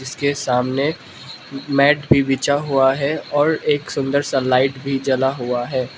के सामने मैट भी बिछा हुआ है और एक सुंदर सा लाइट भी जला हुआ है।